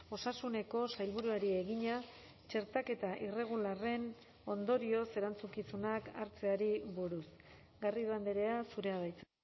osasuneko sailburuari egina txertaketa irregularren ondorioz erantzukizunak hartzeari buruz garrido andrea zurea da hitza